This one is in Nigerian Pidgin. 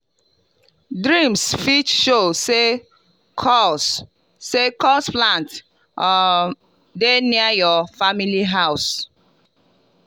dreams fit show say cursed say cursed plants um dey near your family house.